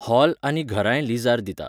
Whole आनी घरांय लिझार दिता.